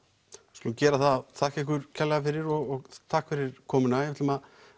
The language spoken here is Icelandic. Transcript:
skulum gera það þakka ykkur kærlega fyrir og takk fyrir komuna við ætlum að